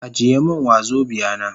Ajiye min wazobia na.